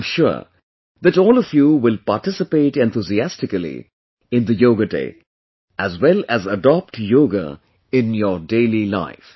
I am sure that all of you will participate enthusiastically in the 'Yoga Day', as well as adopt yoga in your daily life